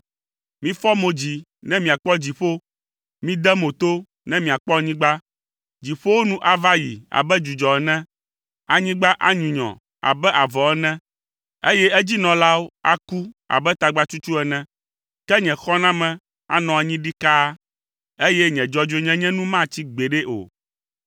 Mifɔ mo dzi ne miakpɔ dziƒo, mide mo to ne miakpɔ anyigba. Dziƒowo nu ava yi abe dzudzɔ ene. Anyigba anyunyɔ abe avɔ ene, eye edzinɔlawo aku abe tagbatsutsu ene, ke nye xɔname anɔ anyi ɖikaa, eye nye dzɔdzɔenyenye nu matsi gbeɖe o.